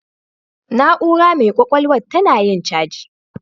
Na'ura mai ƙwaƙwalwan tana yin caji.